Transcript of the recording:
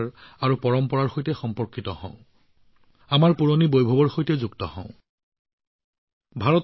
আহক আমি আমাৰ আচাৰঅনুষ্ঠানৰ সৈতে সংযোগ স্থাপন কৰোঁ আমাৰ পৰম্পৰাৰ সৈতে সংযোগ স্থাপন কৰোঁ আমাৰ প্ৰাচীন ভব্য মহিমাৰ সৈতে সংযোগ স্থাপন কৰোঁ